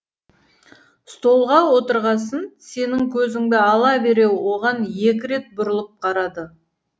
столға отырғасын сенің көзіңді ала бере оған екі рет бұрылып қарады